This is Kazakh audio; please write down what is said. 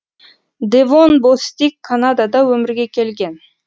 девон бостик канадада өмірге келген